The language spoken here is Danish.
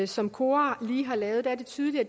som kora lige har lavet er det tydeligt at